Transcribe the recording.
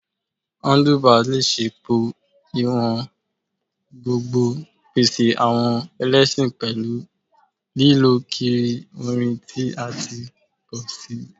Handlebars le ṣe pọ-iwọn gbogbn, pese awọn ẹlẹṣin pẹlu lilọ kiri orin ti a ti pọ si